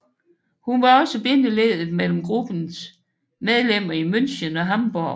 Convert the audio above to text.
Hun var også bindeledet mellem gruppens medlemmer i München og Hamborg